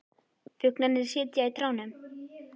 Fuglarnir sitja í trjánum.